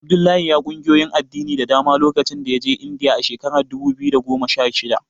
Abdullahi ya ƙungiyoyin addini da dama lokacin da ya je Indiya a shekarar dubu biyu da goma sha shida.